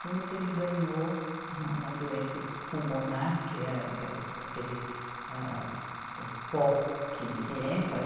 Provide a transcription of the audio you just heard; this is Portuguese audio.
Com isso ele ganhou uma doença pulmonar, que é aquelas, aquele, âh, o pó que que entra.